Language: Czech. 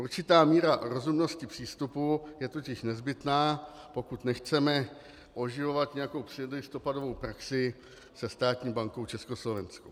Určitá míra rozumnosti přístupu je totiž nezbytná, pokud nechceme oživovat nějakou předlistopadovou praxi se Státní bankou československou.